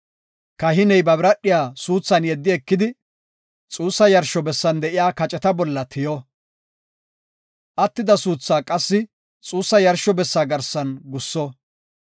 Kahiney ba biradhiya suuthan yeddi ekidi, xuussa yarsho bessan de7iya kaceta bolla tiyo; attida suuthaa qassi xuussa yarsho bessa garsan gusso.